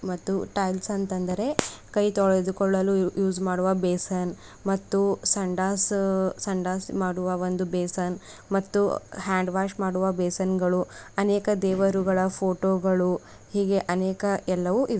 ಮತ್ತು ಟೈಲ್ಸ್ ಅಂತ ಅಂದರೆ ಕೈ ತೊಳೆದುಕೊಳ್ಳಲು ಯೂಸ್ ಮಾಡುವ ಬೇಸನ್ ಮತ್ತು ಸಂಡಸ್ ಹ್ ಸಂಡಸ್ ಮಾಡುವ ಒಂದು ಬೇಸನ್ ಮತ್ತು ಹ್ಯಾಂಡ್ ವಾಷ್ ಮಾಡುವ ಬೇಸನ್ಗಳು ಅನೇಕ ದೇವರುಗಳ ಪೋಟೋ ಗಳು ಹೀಗೆ ಅನೇಕ ಎಲ್ಲವೂ ಇವೆ.